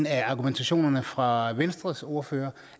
af argumenterne fra venstres ordfører